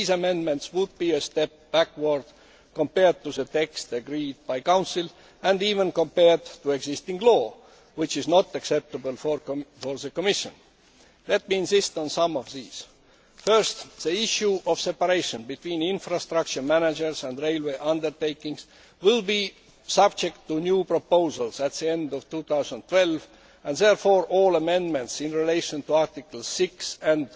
These amendments would be a step backward compared to the text agreed by Council and even compared to existing law, which is not acceptable for the Commission. Let me insist on some of these First, the issue of separation between infrastructure managers and railway undertakings will be subject to new proposals at the end of 2012 and therefore all amendments in relation to Articles 6 and